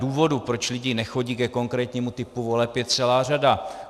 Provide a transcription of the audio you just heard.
Důvodů, proč lidi nechodí ke konkrétnímu typu voleb, je celá řada.